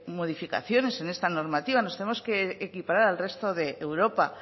modificaciones en esta normativa nos tenemos que equiparar al resto de europa